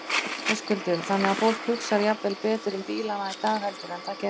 Höskuldur: Þannig að fólk hugsar jafnvel betur um bílana í dag heldur en það gerði?